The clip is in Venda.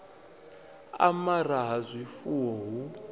u amara ha zwifuwo hu